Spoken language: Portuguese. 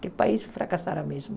que o país fracassaram mesmo.